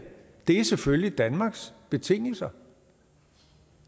er selvfølgelig danmarks betingelser